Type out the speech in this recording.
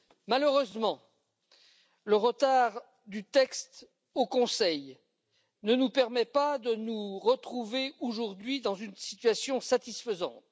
Malheureusement, le retard du texte au Conseil ne nous permet pas de nous retrouver aujourd'hui dans une situation satisfaisante.